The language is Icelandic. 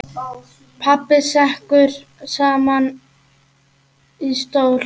Pabbi sekkur saman í stól.